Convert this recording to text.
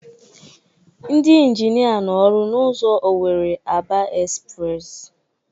Ndị ịnginia nọ ọrụ n'ụzọ Owere-Aba espres